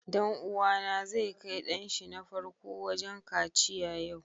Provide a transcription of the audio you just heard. Dan uwa na zai kai dan shi na farko wajen kaciya yau.